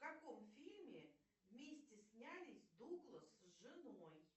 в каком фильме вместе снялись дуглас с женой